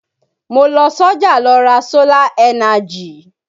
Mo lọ sọ́jà lọ ra sólà ẹ́najì